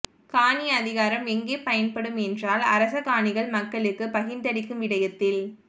காணி அதிகாரம் எங்கே பயன்படும் என்றால் அரசகாணிகள் மக்களுக்கு பகிர்ந்தளிக்கும் விடயத்தில்